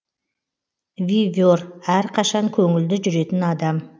виве р әрқашан көңілді жүретін адам